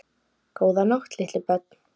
Góða nótt litlu börn.